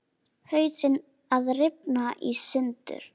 Hausinn að rifna í sundur.